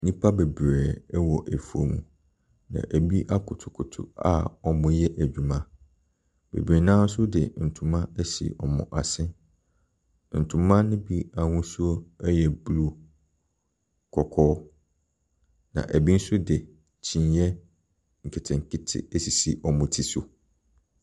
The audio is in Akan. Nnipa bebree ɛwɔ afuom, na ɛbi akotokoto a wɔreyɛ adwuma. Bebree no ara nso de ntoma asi wɔn asen, na ntoma no bi ahosuo ɛyɛ blue, kɔkɔɔ, na ɛbi nso de kyineɛ nketenkete asisi wɔn ti so.